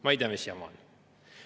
Ma ei tea, mis jama on.